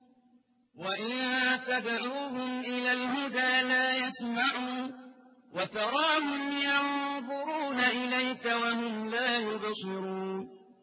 وَإِن تَدْعُوهُمْ إِلَى الْهُدَىٰ لَا يَسْمَعُوا ۖ وَتَرَاهُمْ يَنظُرُونَ إِلَيْكَ وَهُمْ لَا يُبْصِرُونَ